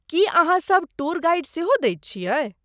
की अहाँ सभ tour guide सेहो दैत छियै?